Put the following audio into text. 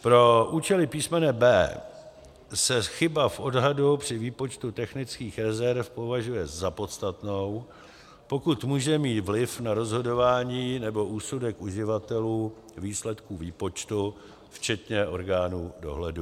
Pro účely písmene b) se chyba v odhadu při výpočtu technických rezerv považuje za podstatnou, pokud může mít vliv na rozhodování nebo úsudek uživatelů výsledků výpočtu, včetně orgánů dohledu.